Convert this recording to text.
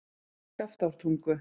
Skaftártungu